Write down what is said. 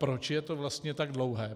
proč je to vlastně tak dlouhé?